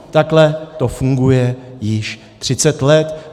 Takhle to funguje již třicet let.